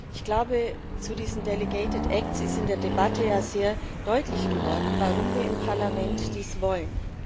Ich glaube, zu diesen ist in der Debatte ja sehr deutlich geworden, warum wir im Parlament dies wollen.